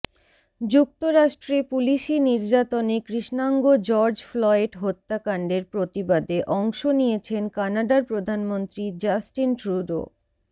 যুক্তরাষ্ট্রে পুলিশি নির্যাতনে কৃষ্ণাঙ্গ জর্জ ফ্লয়েড হত্যাকাণ্ডের প্রতিবাদে অংশ নিয়েছেন কানাডার প্রধানমন্ত্রী জাস্টিন ট্রুডো